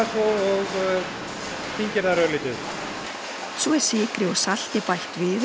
og þyngir þær örlítið svo er sykri og salti bætt við